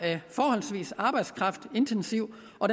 forholdsvis arbejdskraftintensiv og